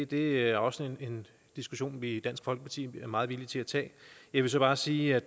det er også en diskussion vi i dansk folkeparti er meget villige til at tage jeg vil så bare sige at